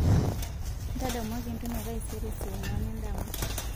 ntadamuaki entumo e taisere saa onguan endama